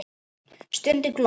Stundum glott.